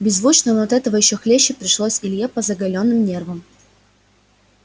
беззвучно но этого ещё хлеще пришлось илье по заголённым нервам